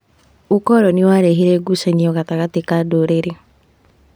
ũkoroni warehire ngucanio gatagatĩ ka ndũrĩrĩ.